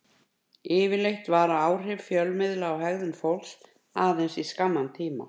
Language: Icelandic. Yfirleitt vara áhrif fjölmiðla á hegðun fólks aðeins í skamman tíma.